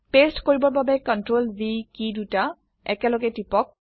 paste কৰিবৰ বাবে Ctrl V কী দুটা একেলগে টিপক